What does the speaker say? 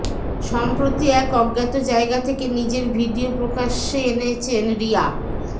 সম্প্রতি এক অজ্ঞাত জায়গা থেকে নিজের ভিডিও প্রকাশ্যে এনেছেন রিয়া